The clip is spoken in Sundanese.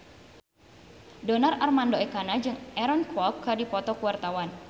Donar Armando Ekana jeung Aaron Kwok keur dipoto ku wartawan